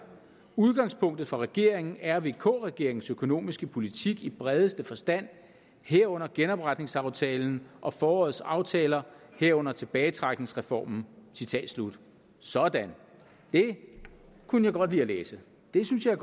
udgangspunktet for regeringen er vk regeringens økonomiske politik i bredeste forstand herunder genopretningsaftalen og forårets aftaler herunder tilbagetrækningsreformen sådan det kunne jeg godt lide at læse det synes jeg